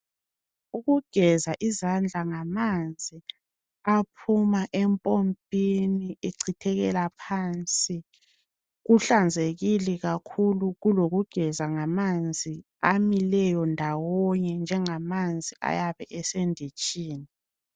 Ukugeza izandla ngamanzi aphuma empompini echithekela phansi kuhlanzekile kakhulu kulokugeza ngamanzi amileyo ndawonye njengamanzi ayabeesenditshini.